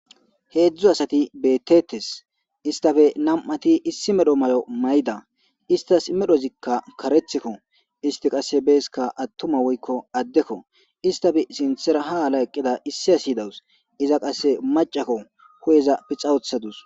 Hezhzhu asat bettetes isstappe nam''ati issi medho mayo mayda. Isitas medhdhozikka kareththikko. Isiti qase atuma woykko addekko isstappe sinththara ha ala eqidara qase issi asi dawus. Iza qase maccakko